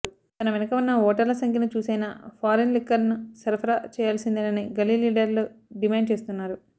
తన వెనుక ఉన్న ఓటర్ల సంఖ్యను చూసైనా ఫారిన్ లిక్కర్ సరఫరా చేయాల్సిందేనని గల్లీ లీడర్లు డిమాండ్ చేస్తున్నారు